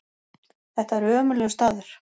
Þetta er ömurlegur staður.